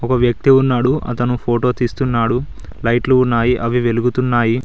ఒక వ్యక్తి ఉన్నాడు అతను ఫోటో తీస్తున్నాడు లైట్లు ఉన్నాయి అవి వెలుగుతున్నాయి.